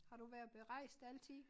Har du været berejst altid?